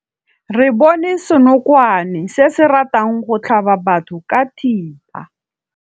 Re bone senokwane se se ratang go tlhaba batho ka thipa.